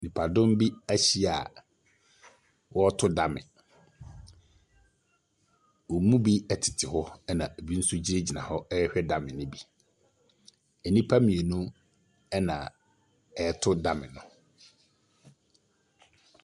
Nnipadɔm bi ahyia a wɔreto dame. Wɔn mu bi tete hɔ, ɛna ebi nso gyinagyina hɔ rehwɛ dame no bi. Nnipa mmienu na ɛreto dame no.